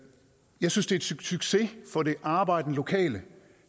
jeg synes det succes for det arbejdende lokale